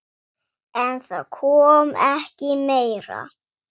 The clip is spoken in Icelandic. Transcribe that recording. En það kom ekki meira.